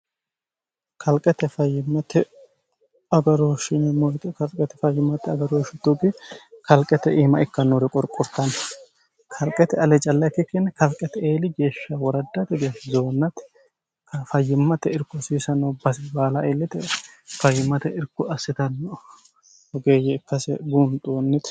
kalqete fayyimmate agaroohshi kalqete fayyimmate agarooshshi tugi kalqete iima ikkannori qorqurtanno kalqete callakki kinni kalqete eeli geeshsha woradd tgh zounmati fayyimmate irku siisno basi baala eellite fayyimmate irku assitanno gede ikkase buunxoonnite